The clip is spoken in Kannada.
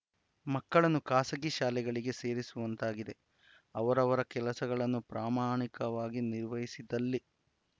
ಮಕ್ಕಳನ್ನು ಖಾಸಗಿ ಶಾಲೆಗಳಿಗೆ ಸೇರಿಸುವಂತಾಗಿದೆ ಅವರವರ ಕೆಲಸಗಳನ್ನು ಪ್ರಮಾಣಿಕವಾಗಿ ನಿರ್ವಹಿಸಿದಲ್ಲಿ